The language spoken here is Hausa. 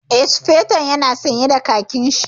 Eh, Sufeton ya na sanye da khakin shi